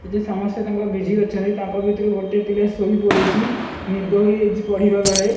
ଏଠି ସମସ୍ତେ ତାଙ୍କ ବିଜି ଅଛନ୍ତି ତାଙ୍କ ଭିତରୁ ଗୋଟେ ପିଲା ଶୋଇପଡ଼ିଚି ନିଦ ହୋଇଯାଇଛି ପଢ଼ିବା ବେଳେ।